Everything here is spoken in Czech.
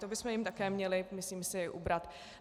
To bychom jim také měli, myslím si, ubrat.